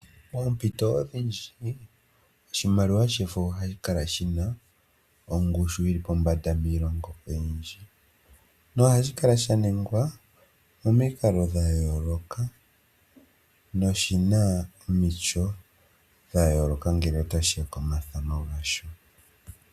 Poompito odhindji, oshimaliwa shefo ohashi kala shina ongushu yili pombanda miilongo oyindji, nohashi kala sha ningwa momikalo dha yooloka noshina omityo dha yooloka ngele tashi ya komathano gasho.